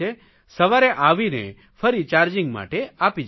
સવારે આવીને ફરી ચાર્જિંગ માટે આપી જાય છે